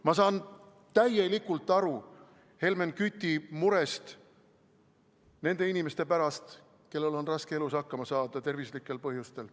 Ma saan täielikult aru Helmen Küti murest nende inimeste pärast, kellel on elus raske hakkama saada tervislikel põhjustel.